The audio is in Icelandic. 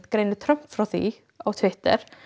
greinir Trump frá því á Twitter